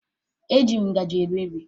Ee, eji m ngaji eri nri